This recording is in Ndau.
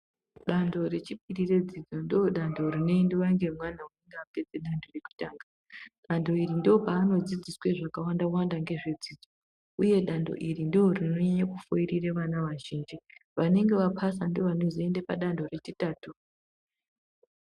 Danto rechipiri redzidzo ndodanto rinoendwa nemwana unonga apedze .... zvekutanga. Danto iri ndopaanodzidziswe zvakawanda-wanda ngezvedzidzo, uye danto iri ndirinonyanye kufoirire vana vazhinji. Vanenge vaphasa ndovanozoende padanto rechitatu.